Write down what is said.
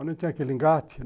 Onde tem aquele engate?